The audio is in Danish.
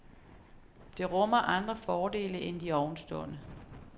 Det rummer andre fordele end de ovenstående.